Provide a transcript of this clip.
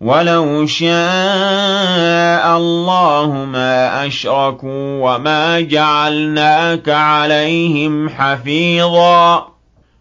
وَلَوْ شَاءَ اللَّهُ مَا أَشْرَكُوا ۗ وَمَا جَعَلْنَاكَ عَلَيْهِمْ حَفِيظًا ۖ